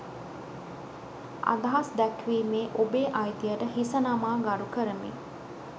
අදහස් දැක්වීමේ ඔබේ අයිතියට හිස නමා ගරු කරමි